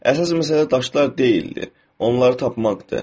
Əsas məsələ daşlar deyildi, onları tapmaqdır.